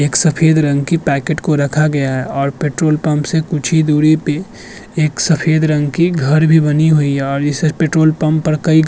एक सफेद रंग की पैकेट को रखा गया है और पेट्रोल पंप से कुछ ही दूरी पे एक सफेद रंग की घर भी बनी हुई है और इस पेट्रोल पंप पर घ् --